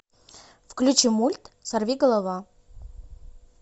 включи мульт сорви голова